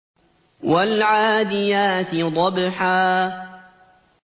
وَالْعَادِيَاتِ ضَبْحًا